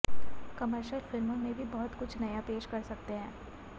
commercial फिल्मों में भी बहुत कुछ नया पेश कर सकतेहैं